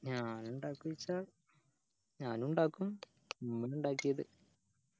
ഞാൻ ഇണ്ടാക്ഒന്നോച്ച ഞാനും ഇണ്ടാകും ഉമ്മ ഇണ്ടാക്കിയത്